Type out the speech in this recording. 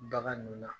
Bagan ninnu na